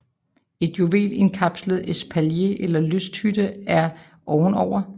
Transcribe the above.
Et juvel indkapslet espalier eller lysthytte er ovenover